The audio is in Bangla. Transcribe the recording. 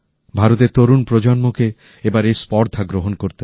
ভারতের তরুণ প্রজন্মকে এবার এই স্পর্ধা গ্রহণ করতে হবে